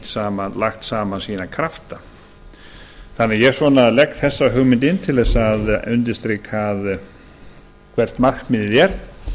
lagt saman sína krafta þannig að ég legg þessa hugmynd inn til þess að undirstrika hvert markmiðið er